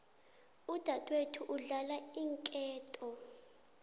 udadwethu udlala iinketo